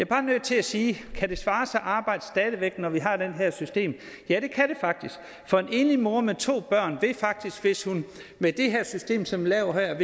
bare nødt til at sige kan det svare sig at arbejde når vi har det her system ja det kan det faktisk for en enlig mor med to børn vil faktisk hvis hun med det her system som vi laver her